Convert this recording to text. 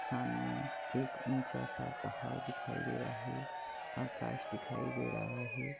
सामने एक ऊंचा- सा पहाड़ दिखाई दे रहा हे आकाश दिखाई दे रहा हे ।